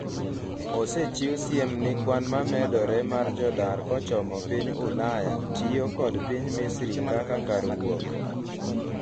osechiwo siem ni kwanmomedore mar jodar kochomo piny Ulaya tiyo kod piny Misri kaka kar wuok